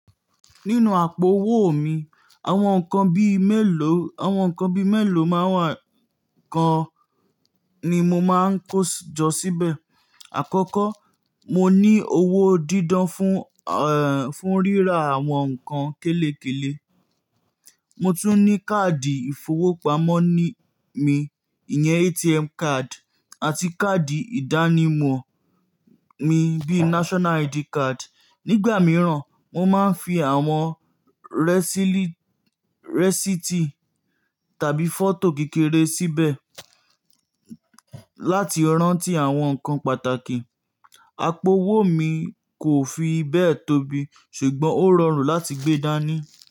Nínú àpò owó mi, àwọn nǹkan bíi mélòó, àwọn nǹkan bíi mélòó máa ń wà kan ni mo máa ń kó jọ síbẹ̀. Àkọ́kọ́, mo ní owó dídan fún, ẹ́ẹ́, fún ríra àwọn nǹkan kélékèlè. Mo tún ní káàdì ìfowópamọ́ mi, ìyẹn ATM card, àti káàdì ìdánimọ̀ mi bíi National ID card. Nígbà mìíràn, mo máa ń fi àwọn rẹsílì, rẹ́sítì tàbí fọ́tò kékeré síbẹ̀ láti rántí àwọn nǹkan pàtàkì. Àpò owó mi kò fi bẹ́ẹ̀ tóbi ṣùgbọ́n ó rọrùn láti gbé dání.